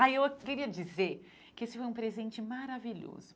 Ah, eu queria dizer que esse foi um presente maravilhoso.